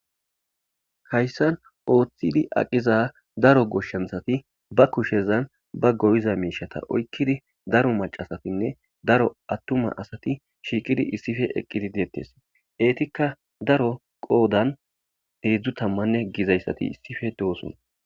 Hayssan ooththidi aqiza daro goshshanthati ba kushezan ba goyiza miishata oykkidi daro macasatinne daro attuma asati shiiqidi issife eqqidi deettes eetikka daro qoodan heidzdzu tammanne gizayssati issife dooson.